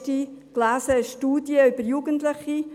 Ich las letzthin eine Studie über Jugendliche: